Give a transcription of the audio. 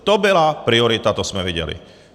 To byla priorita, to jsme viděli.